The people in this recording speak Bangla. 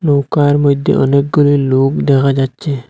নৌকার মইধ্যে অনেকগুলি লোক দেখা যাচ্ছে।